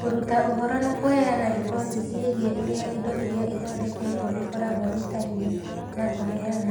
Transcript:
kũruta ũhoro na kũheana riboti ciĩgiĩ ũrĩa indo iria ithondeketwo ikoragwo itariĩ; na kũheana